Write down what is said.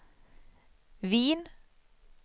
Wien